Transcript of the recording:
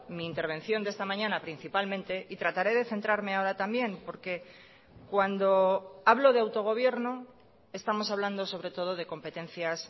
mi intervención de esta mañana principalmente y trataré de centrarme ahora también porque cuando hablo de autogobierno estamos hablando sobre todo de competencias